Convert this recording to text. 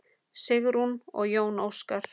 Sigrún og Jón Óskar.